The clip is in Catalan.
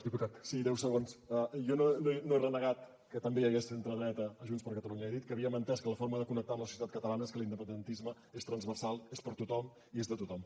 jo no he renegat que també hi hagués centredreta a junts per catalunya he dit que havíem entès que la forma de connectar amb la societat catalana és que l’independentisme és transversal és per a tothom i és de tothom